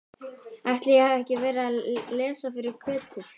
Ætli ég hafi ekki verið að lesa fyrir Kötu.